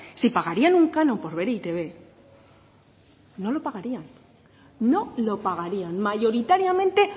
si pagarían un canon por ver e i te be no lo pagarían no lo pagarían mayoritariamente